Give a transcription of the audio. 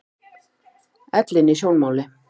Ellin í sjónmáli.